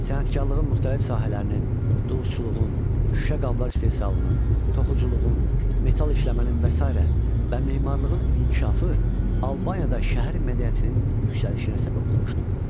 Sənətkarlığın müxtəlif sahələrinin, dulusçuluğun, şüşə qablar istehsalının, toxuculuğun, metal işləmənin və sairə və memarlığın inkişafı Albaniyada şəhər mədəniyyətinin yüksəlişinə səbəb olmuşdu.